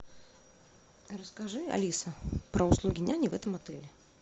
расскажи алиса про услуги няни в этом отеле